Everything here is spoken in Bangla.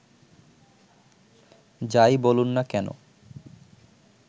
যাই বলুন না কেনো